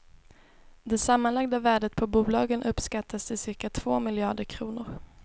Det sammanlagda värdet på bolagen uppskattas till cirka två miljarder kronor.